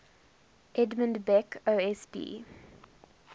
edmund beck osb